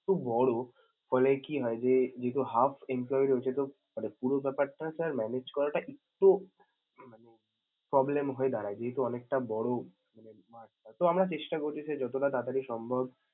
এত বড় ফলে কি হয় যে~ যেহেতু half empolyee রয়েছে তো~ মানে পুরো ব্যপারটা sir manage টা একটু মানে problem হয়ে দাঁড়ায় যেহেতু অনেকটা বড় মানে mart তো আমরা চেষ্টা করতেছি যতটা তাড়াতাড়ি সম্ভব।